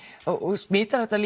frá smitar þetta